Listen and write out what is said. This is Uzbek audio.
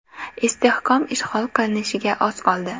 Istehkom ishg‘ol qilinishiga oz qoldi.